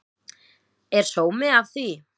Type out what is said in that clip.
Er sómi af því?